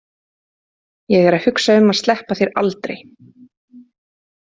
Ég er að hugsa um að sleppa þér aldrei.